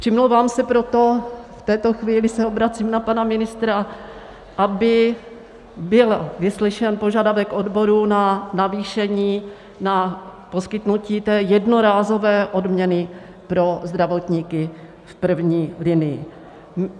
Přimlouvám se proto, v této chvíli se obracím na pana ministra, aby byl vyslyšen požadavek odborů na navýšení, na poskytnutí té jednorázové odměny pro zdravotníky v první linii.